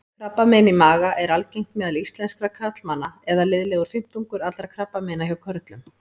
Krabbamein í maga er algengt meðal íslenskra karlmanna eða liðlegur fimmtungur allra krabbameina hjá körlum.